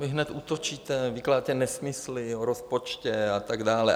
Vy hned útočíte, vykládáte nesmysly o rozpočtu a tak dále.